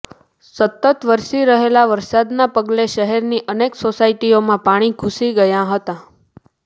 સતત વરસી રહેલા વરસાદના પગલે શહેરની અનેક સોસાયટીઓમાં પાણી ઘૂસી ગયા હતા